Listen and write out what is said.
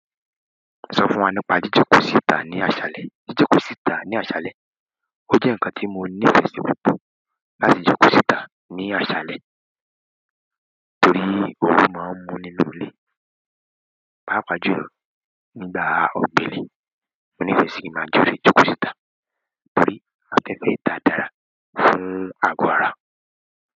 Sọ fún wa nípa jíjókòó síta ní àṣálẹ́. Jíjókòó síta ní àṣálẹ́, ó jẹ́ ǹkan tí mo nífẹ̀ẹ́ sí púpọ̀ láti jókòó síta ní àṣálẹ́ torí ooru máa ń mú nínú ilé. Páápàá jùlọ nígbà ọ̀gbelẹ̀, mo nífẹ̀ẹ́ sì kí n máa jáde jókòó síta torí afẹ́fẹ́ ìta dára fún àgó ara.